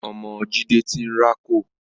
Ọmọ Jídé ti ń rákò